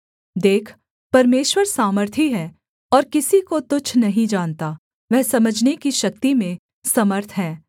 देख परमेश्वर सामर्थी है और किसी को तुच्छ नहीं जानता वह समझने की शक्ति में समर्थ है